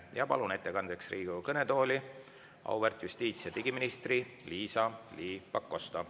Ja palun ettekandeks Riigikogu kõnetooli auväärt justiits- ja digiministri Liisa-Ly Pakosta.